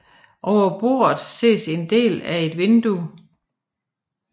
Over bordet ses en del af et vindue